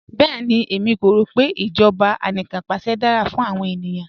Bẹẹni, ẹ̀mí kò rọ pe ijọba àníkanpàṣẹ̀ dara fún awọn ènìyàn